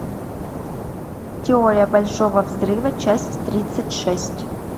теория большого взрыва часть тридцать шесть